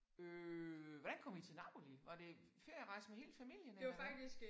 Øh hvordan kom I til Napoli? Var det ferierejse med hele familien eller hvad?